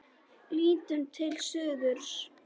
Lítum til suðurs.